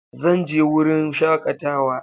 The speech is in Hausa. Zan je yin wurin shakatawa.